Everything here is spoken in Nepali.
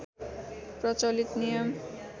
प्रचलित नियम